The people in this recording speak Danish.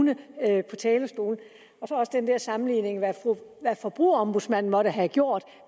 nød også den der sammenligning med hvad forbrugerombudsmanden måtte have gjort